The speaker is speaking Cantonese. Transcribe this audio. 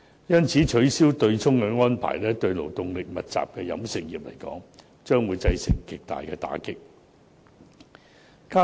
因此，取消對沖安排對勞動力密集的飲食業將會造成極大打擊。